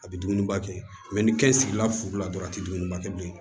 A bɛ dumuni ba kɛ ni kɛn sigila furu la dɔrɔn a tɛ dumuni ba kɛ bilen